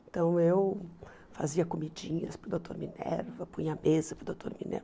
Então eu fazia comidinhas para o doutor Minerva, punha a mesa para o doutor Minerva.